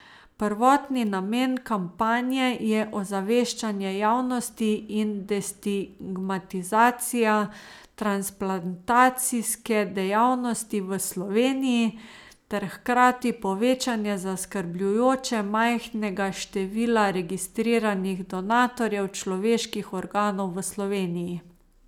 Prvotni namen kampanje je ozaveščanje javnosti in destigmatizacija transplantacijske dejavnosti v Sloveniji ter hkrati povečanje zaskrbljujoče majhnega števila registriranih donatorjev človeških organov v Sloveniji.